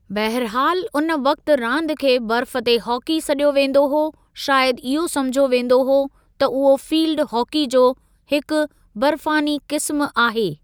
बहिरहालु उन वक़्ति रांदि खे "बर्फ़ ते हॉकी" सॾियो वेंदो हो शायदि इहो समुझियो वेंदो हो त उहो फ़ील्डि हॉकी जो हिकु बर्फ़ानी क़िस्मु आहे।